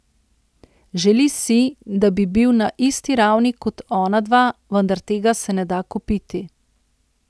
Želi si, da bi bil na isti ravni kot ona dva, vendar tega se ne da kupiti.